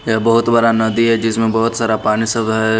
यह बहुत बड़ा नदी है जिसमें बहुत सारा पानी सब है।